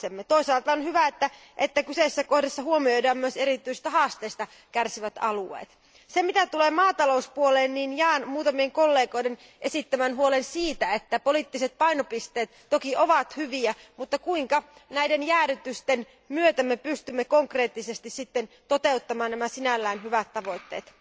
Toisaalta on hyvä, että kyseisessä kohdassa huomioidaan myös erityisistä ongelmista kärsivät alueet. Mitä tulee maatalouteen, jaan muutamien kollegoiden esittämän huolen siitä, että poliittiset painopisteet toki ovat hyviä, mutta kuinka me näiden jäädytysten myötä pystymme konkreettisesti sitten toteuttamaan nämä sinällään hyvät tavoitteet?